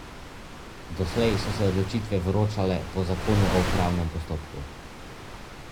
Doslej so se te odločitve vročale po zakonu o upravnem postopku.